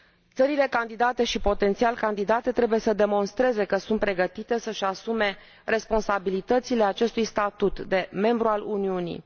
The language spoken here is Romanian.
Țările candidate și potențial candidate trebuie să demonstreze că sunt pregătite să își asume responsabilitățile acestui statut de membru al Uniunii.